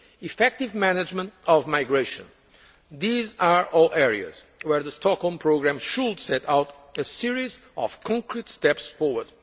effective management of migration these are all areas where the Stockholm Programme should set out a series of concrete steps forward.